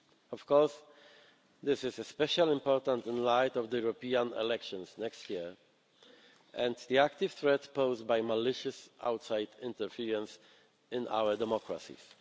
Of course, this is especially important in light of the European elections next year and the active threat posed by malicious, outside interference in our democracies.